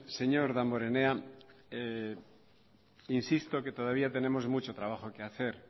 señor damborenea insisto que todavía tenemos mucho trabajo que hacer